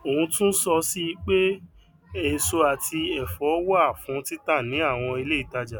òun tún so sí i pé èso àti èfón wà fún títà ní àwon ilé ìtaja